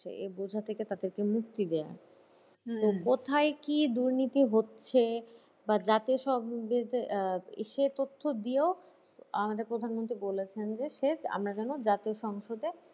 যে এ বোঝা থেকে তাদেরকে মুক্তি দেওয়া হম কোথায় কি দুর্নীতি হচ্ছে বা আহ সে তথ্য দিয়েও আমাদের প্রধান মন্ত্রী বলেছেন যে সে আমরা যেন জাতীয় সংসদে